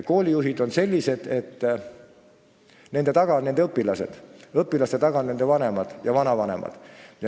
Koolijuhtide taga on õpilased, õpilaste taga on nende vanemad ja vanavanemad.